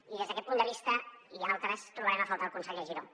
i des d’aquest punt de vista i altres trobarem a faltar el conseller giró